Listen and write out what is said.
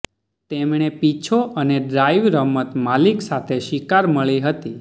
તેમણે પીછો અને ડ્રાઇવ રમત માલિક સાથે શિકાર મળી હતી